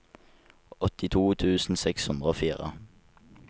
åttito tusen seks hundre og fire